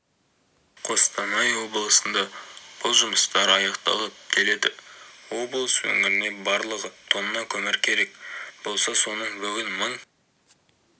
қостанай облысында бұл жұмыстар аяқталып келеді облыс өңіріне барлығы тонна көмір керек болса соның бүгін мың